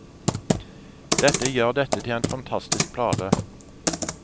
Det gjør dette til en fantastisk plate.